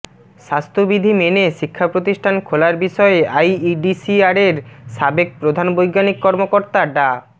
স্বাস্থ্যবিধি মেনে শিক্ষা প্রতিষ্ঠান খোলার বিষয়ে আইইডিসিআরের সাবেক প্রধান বৈজ্ঞানিক কর্মকর্তা ডা